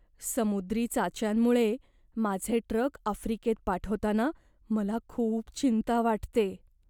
समुद्री चाच्यांमुळे माझे ट्रक आफ्रिकेत पाठवताना मला खूप चिंता वाटते.